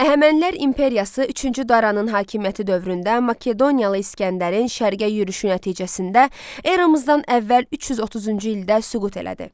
Əhəmənilər imperiyası üçüncü Daranın hakimiyyəti dövründə Makedoniyalı İsgəndərin şərqə yürüşü nəticəsində eramızdan əvvəl 330-cu ildə süqut elədi.